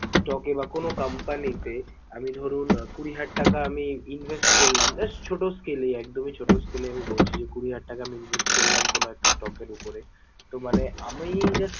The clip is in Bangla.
stock এ বা কোনো company তে আমি ধরুন কুড়ি হাজার টাকা আমি invest করলাম just ছোটো scale এ একদমই ছোটো scale এ আমি বলছি যে, কুড়ি হাজার টাকা আমি invest করলাম কোনো একটা stock এর উপরে তো মানে আমি just